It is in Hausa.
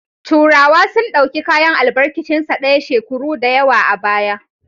Turawa sun dauki kayan albarkicin sa daya shekuru dayawa a baya